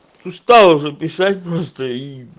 устал уже писать просто и